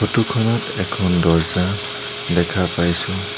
Photo খনত এখন দৰ্জ্জা দেখা পাইছোঁ।